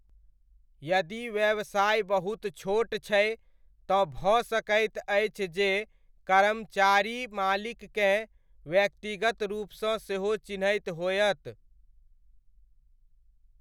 यदि व्यवसाय बहुत छोट छै, तँ भऽ सकैत अछि जे कर्मचारी मालिककेँ व्यक्तिगत रूपसँ सेहो चिन्हैत होयत।